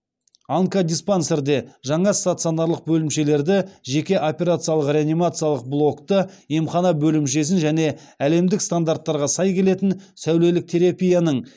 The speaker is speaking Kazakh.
онкодиспансерде жаңа стационарлық бөлімшелерді жеке операциялық реанимациялық блокты емхана бөлімшесін және әлемдік стандарттарға сай келетін сәулелік терапияның